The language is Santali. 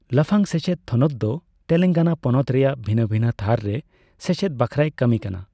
ᱞᱟᱯᱷᱟᱝ ᱥᱮᱪᱮᱫ ᱛᱷᱚᱱᱚᱛ ᱫᱚ ᱛᱮᱞᱮᱝᱜᱟᱱᱟ ᱯᱚᱱᱚᱛ ᱨᱮᱭᱟᱜ ᱵᱷᱤᱱᱟᱹ ᱵᱷᱤᱱᱟᱹ ᱛᱷᱟᱨ ᱨᱮ ᱥᱮᱪᱮᱫ ᱵᱟᱠᱷᱨᱟᱭ ᱠᱟᱹᱢᱤ ᱠᱟᱱᱟ ᱾